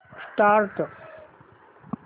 start